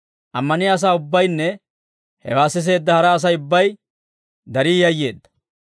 Ammaniyaa asaa ubbaynne hewaa siseedda hara Asay ubbay darii yayyeedda.